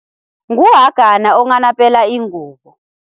Nguhagana onghanapela ingubo.